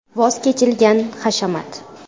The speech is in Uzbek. Voz kechilgan hashamat.